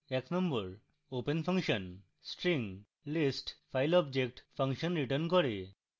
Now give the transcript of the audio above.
1 open function